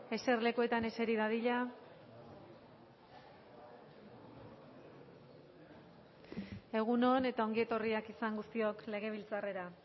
eserlekuetan eseri dadila egun on eta ongi etorriak izan guztiok legebiltzarrera